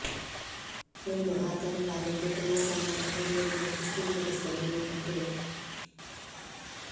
ಹೊನ್ನು ಆತನ ಭಾಗಕ್ಕೆ ತೃಣ ಸಮಾನ ಎಂಬುದನ್ನು ಪುಷ್ಟೀಕರಿಸುತ್ತದೆ ಈ ಕಥೆ